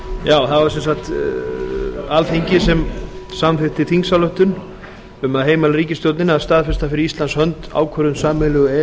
já það var sem sagt alþingi sem samþykkti þingsályktun um að heimila ríkisstjórninni að staðfesta fyrir íslands hönd ákvörðun sameiginlegu e e